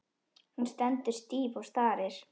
Hún stendur stíf og starir.